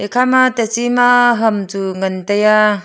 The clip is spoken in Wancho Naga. ekhama teche ma ham chu ngan taiya.